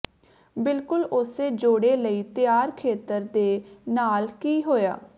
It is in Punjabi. ਬਿਲਕੁਲ ਉਸੇ ਜੋੜੇ ਲਈ ਤਿਆਰ ਖੇਤਰ ਦੇ ਨਾਲ ਕੀ ਹੋਇਆ